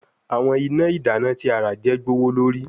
Awọn ina idana ti a ra je gbowolori